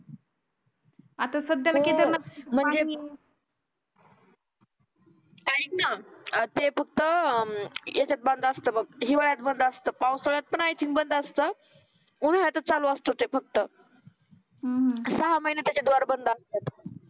ऐक ना ते फक्त अं याच्यात बंद असते बघ हिवाळ्यात बंद असतं. पावसाळ्यात पण बंद असतं. उन्हाळ्यात चालू असते ते फक्त हम्म सहा महिने त्याचे डोर बंद असतात.